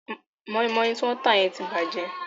Mọ́ímọ́í tí wọ́n tà yẹn ti bàjẹ́.